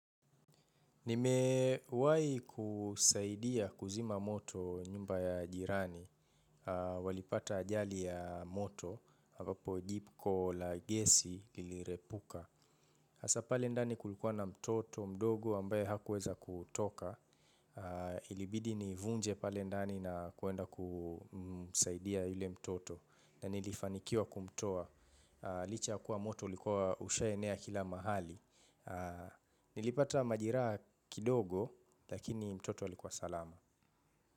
Nimewahi kusaidia kuzima moto nyumba ya jirani. Walipata ajali ya moto, ambapo jiko la gesi lilirepuka. Hasa pale ndani kulikuwa na mtoto mdogo ambaye hakuweza kutoka. Ilibidi nivunje pale ndani na kuenda kumsaidia yule mtoto. Na nilifanikiwa kumtoa licha ya kuwa moto ulikuwa ushaenea kila mahali. Nilipata majireraha kidogo, lakini mtoto alikuwa salama.